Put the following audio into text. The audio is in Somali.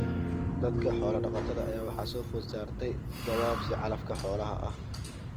Dadka xoola dhaqatada ah ayaa waxaa soo food saartay gabaabsi calafka xoolaha ah.